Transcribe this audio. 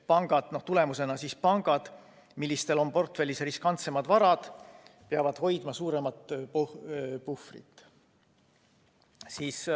Selle tulemusena peavad pangad, millel on portfellis riskantsemad varad, hoidma suuremat puhvrit.